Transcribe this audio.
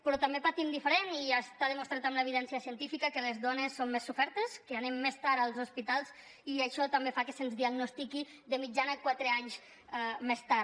però també patim diferent i està demostrat amb l’evidència científica que les dones som més sofertes que anem més tard als hospitals i això també fa que se’ns diagnostiqui de mitjana quatre anys més tard